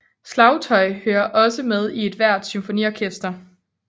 Slagtøj hører også med i ethvert symfoniorkester